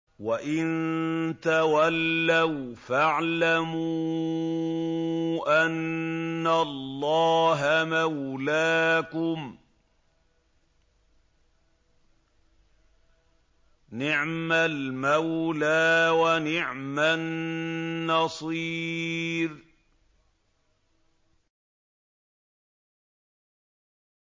وَإِن تَوَلَّوْا فَاعْلَمُوا أَنَّ اللَّهَ مَوْلَاكُمْ ۚ نِعْمَ الْمَوْلَىٰ وَنِعْمَ النَّصِيرُ